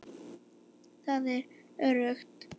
Það er öruggt.